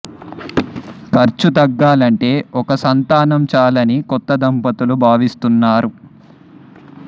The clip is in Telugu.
ఖర్చు తగ్గాలంటే ఒక్క సంతానం చాలని కొత్త దంపతులు భావిస్తున్నారు